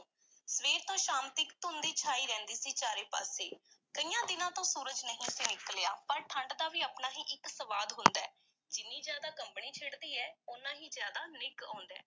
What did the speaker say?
ਸਵੇਰ ਤੋਂ ਸ਼ਾਮ ਤੀਕ ਧੁੰਦ ਈ ਛਾਈ ਰਹਿੰਦੀ ਸੀ ਚਾਰੇ ਪਾਸੇ, ਕਈਆਂ ਦਿਨਾਂ ਤੋਂ ਸੂਰਜ ਨਹੀਂ ਸੀ ਨਿਕਲਿਆ ਪਰ ਠੰਢ ਦਾ ਵੀ ਆਪਣਾ ਹੀ ਇੱਕ ਸਵਾਦ ਹੁੰਦਾ ਹੈ, ਜਿੰਨੀ ਜ਼ਿਆਦਾ ਕੰਬਣੀ ਛਿੜਦੀ ਐ, ਓਨਾ ਹੀ ਜ਼ਿਆਦਾ ਨਿੱਘ ਆਉਂਦਾ ਹੈ।